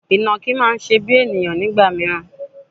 Ìnàkí máa ń ṣe bíi ènìyàn nígbà mìíràn.